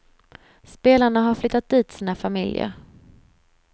Spelarna har flyttat dit sina familjer.